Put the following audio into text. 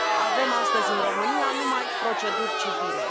Avem astăzi în România numai proceduri civile.